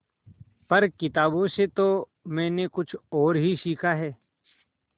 पर किताबों से तो मैंने कुछ और ही सीखा है